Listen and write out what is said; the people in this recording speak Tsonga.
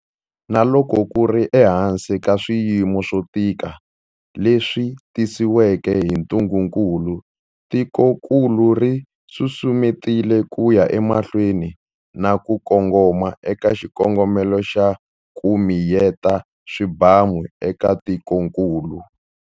Na loko ku ri ehansi ka swiyimo swo tika leswi tisiweke hi ntungukulu, tikokulu ri susumetile ku ya emahlweni na ku kongoma eka xikongomelo xa 'ku miyeta swibamu' eka tikokulu.